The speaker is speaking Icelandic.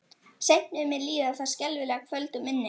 Seint mun mér líða það skelfilega kvöld úr minni.